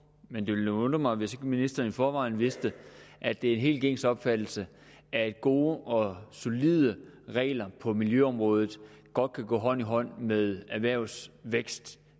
men det ville nu undre mig hvis ministeren forvejen vidste at det er en helt gængs opfattelse at gode og solide regler på miljøområdet godt kan gå hånd i hånd med erhvervsvækst